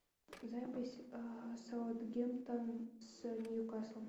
запись саутгемптон с ньюкаслом